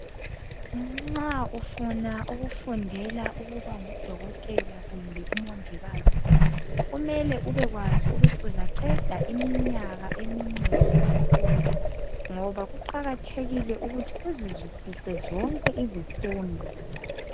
Nxa ufuna ukufundela ukuba ngudokotela kumbe umongikazi, kumele ubekwazi ukuthi uzaqeda iminyaka eminengi kakhulu, ngoba kuqakathekile ukuthi uzizwisise izifundo.